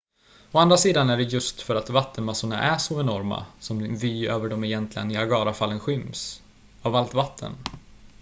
å andra sidan är det just för att vattenmassorna är så enorma som din vy över de egentliga niagarafallen skyms av allt vatten